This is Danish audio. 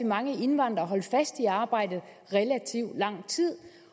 mange indvandrere holdt fast i arbejdet relativt lang tid